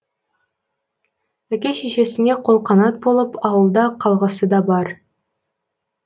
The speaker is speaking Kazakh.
әке шешесіне қолқанат болып ауылда қалғысы да бар